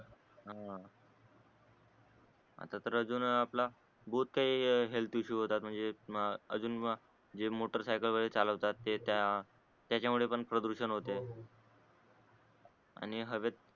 आह आता तर अजून आपला काही हेल्थ इशु होतात म्हणजे म अजून म ज्ये मोटार सायकल वगरे चालवतात तेत्या त्याच्यामुळे पण प्रदूषण होते हो हो आणि हवेतून